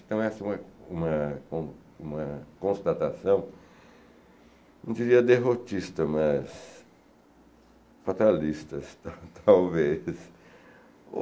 Então, essa é uma uma uma constatação, não diria derrotista, mas fatalistas, talvez.